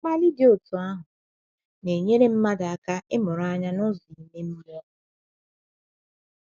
Mkpali dị otú ahụ, na - enyere mmadụ aka ịmụrụ anya n’ụzọ ime mmụọ.